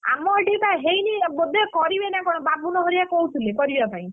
ଆମ ଏଠି ତ ହେଇନି ବୋଧେ କରିବେ ନା କଣ ବାବୁନ ହରିକା କହୁଥିଲେ କରିବା ପାଇଁ,